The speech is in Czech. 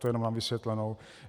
To jen na vysvětlenou.